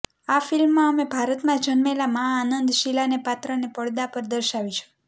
આ ફિલ્મમાં અમે ભારતમાં જન્મેલા મા આનંદ શીલાને પાત્રને પડદા પર દર્શાવીશું